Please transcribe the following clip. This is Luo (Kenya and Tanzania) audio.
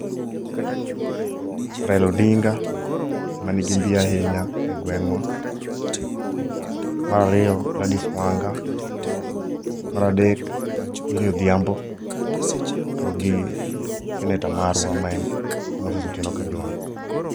Raila Odinga ema nigi mbi ahinya e gweng'wa. Mar ariyo Gladys Wanga. Mar adek Milly Odhiambo to gi seneta marwa ma en Moses Otieno Kajwang'.